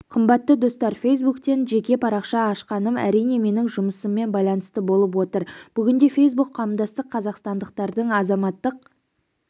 қымбатты достар фейсбуктен жеке парақша ашқаным әрине менің жұмысыммен байланысты болып отыр бүгінде фейсбук-қауымдастық қазақстандықтардың азаматтық